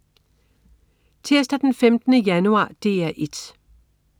Tirsdag den 15. januar - DR 1: